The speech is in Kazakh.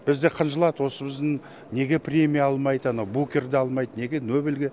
бізде қынжылады осы біздің неге премия алмайды ана букерді алмайды неге нобельге